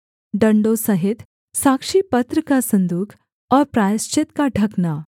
डण्डों सहित साक्षीपत्र का सन्दूक और प्रायश्चित का ढकना